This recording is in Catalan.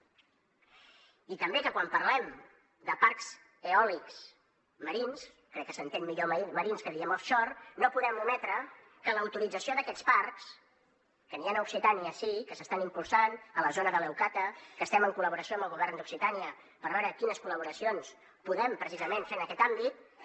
i també que quan parlem de parcs eòlics marins crec que s’entén millor marins que dient offshoren’hi han a occitània sí que s’estan impulsant a la zona de leucata que estem en col·laboració amb el govern d’occitània per veure quines col·laboracions podem precisament fer en aquest àmbit